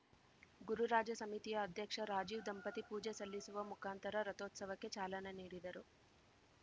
ಗುರುರಾಜ ಸಮಿತಿಯ ಅಧ್ಯಕ್ಷ ರಾಜೀವ್‌ ದಂಪತಿ ಪೂಜೆ ಸಲ್ಲಿಸುವ ಮುಖಾಂತರ ರಥೋತ್ಸವಕ್ಕೆ ಚಾಲನೆ ನೀಡಿದರು